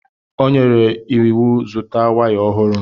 O nyere m iwu zụta waya ọhụrụ.